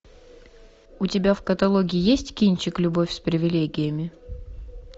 у тебя в каталоге есть кинчик любовь с привилегиями